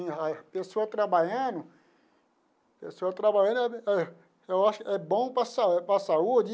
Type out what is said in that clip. A pessoa trabalhando a pessoa trabalhando, eu acho que é bom para sa para a saúde.